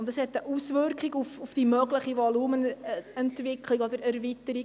Und das hat einen Einfluss auf die mögliche Volumenentwicklung oder Volumenerweiterung.